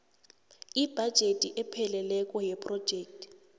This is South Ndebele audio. ibhajethi epheleleko yephrojekhthi